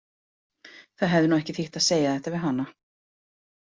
Það hefði nú ekki þýtt að segja þetta við hana.